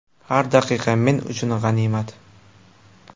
Har daqiqa men uchun g‘animat.